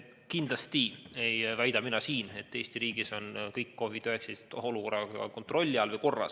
Kindlasti ei väida ma, et Eesti riigis on kogu COVID-19 olukord kontrolli all või korras.